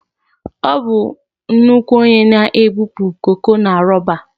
Ọ bụ nnukwu onye na-ebupụ koko na roba